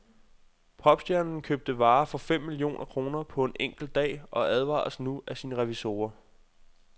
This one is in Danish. Popstjernen købte varer for fem millioner kroner på en enkelt dag og advares nu af sine revisorer.